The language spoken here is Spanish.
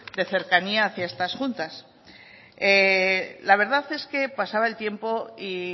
de cercanía hacia estas juntas la verdad es que pasaba el tiempo y